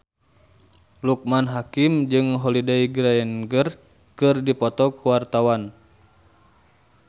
Loekman Hakim jeung Holliday Grainger keur dipoto ku wartawan